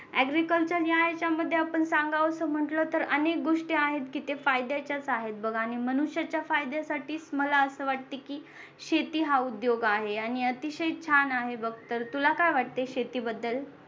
agriculture या याच्यामध्ये आपण सांगावसं म्हटलं तर अनेक गोष्टी आहेत कि ते फायद्याच्याच आहेत बघ आणि मनुष्याच्या फायद्यासाठी मला असे वाटते की शेती हा उद्योग आहे आणि अतिशय छान आहे बघ तर तुला काय वाटते शेती बद्दल